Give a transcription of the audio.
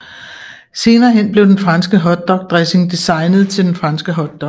Senere hen blev den franske hotdogdressing designet til den franske hotdog